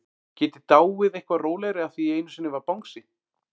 Get ég dáið eitthvað rólegri af því einu sinni var bangsi?